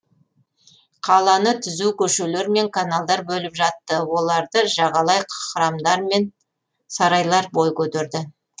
қаланы түзу көшелер мен каналдар бөліп жатты оларды жағалай храмдармен сарайлар бой көтерді